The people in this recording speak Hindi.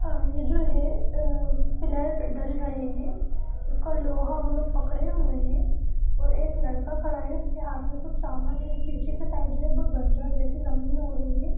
येह जो है पिलर ढल रहै है उसका लोहा वो लोग पकड़े हुए है और एक लड़का खड़ा है उसके हाथ मे समान है पीछे के साइड जो है वो बंजर जैसी जमीन हो रही है।